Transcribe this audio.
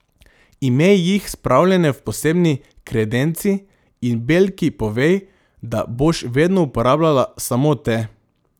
Imej jih spravljene v posebni kredenci in belki povej, da boš vedno uporabljala samo te.